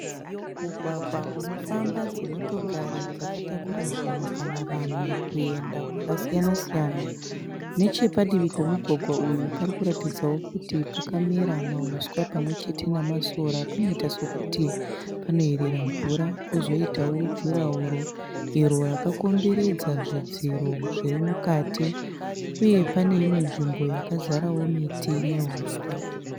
Mugwagwa unofamba dzimotokari dzakatakura zvinhu kana vanhu kuenda kwakasiyana siyana. Neche padivi pomugwagwa uyu pari kuratidzawo kuti pakamera mahuswa pamwe chete namasora panoita sokuti panoyerera mvura. Kozoitawo jurahoro iro rakakomberedza zvidziro zviri mukati, uye pane imwe nzvimbo yakazarawo miti nehuswa.